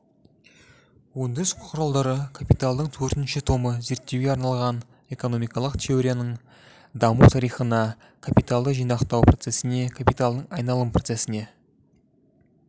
өндіріс құралдары капиталдың төртінші томы зерттеуге арналған экономикалық теорияның даму тарихына капиталды жинақтау процесіне капиталдың айналым процесіне